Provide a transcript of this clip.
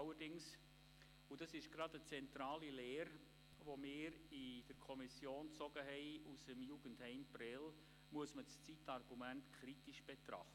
Allerdings muss das Zeitargument kritisch betrachtet werden – das ist eine zentrale Leere, die unsere Kommission aus dem Jugendheim Prêles gezogen hat.